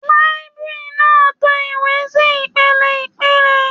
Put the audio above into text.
Làìbéríànì náà to ìwé sí ìpele ìpele.